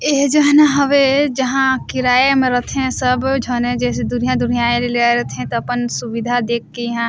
एह जोहना हवे जहां किराया म रथे सब झन जइसे दूरिहा-दूरिहा रिला आए रथे तब अपन सुविधा देख के ईहा--